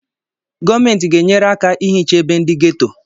Gọọmenti ga-enyere aka ihicha ebe ndị geto